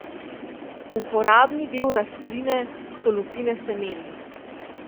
Uporabni del rastline so lupine semen.